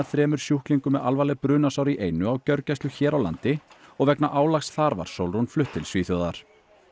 þremur sjúklingum með alvarleg brunasár í einu á gjörgæslu hér á landi og vegna álags þar var Sólrún flutt til Svíþjóðar